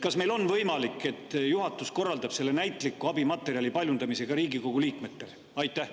Kas on võimalik, et juhatus korraldab selle näitliku abimaterjali paljundamise Riigikogu liikmetele?